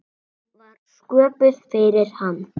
Hún var sköpuð fyrir hann.